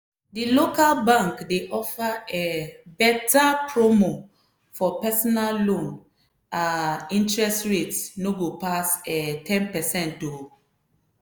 di local bank dey offer um beta promo for personal loan um interest rate no go pass um ten percent oh!